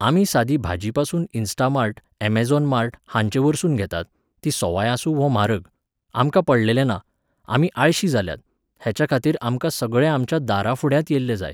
आमी सादी भाजीपासून इंस्टामार्ट, अमॅझोन मार्ट हांचेवरसून घेतात, तीं सोवाय आसूं वो म्हारग, आमकां पडलेलें ना, आमी आळशी जाल्यांत, हेच्याखातीर आमकां सगळें आमच्या दाराफुड्यांत येल्लें जाय